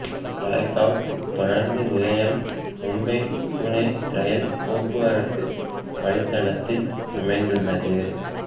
தளேகாவ் தொடருந்து நிலையம் மும்பை புனே ரயில் போக்குவரத்து வழித்தடத்தில் அமைந்துள்ளது